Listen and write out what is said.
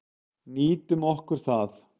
Nýtum okkur það.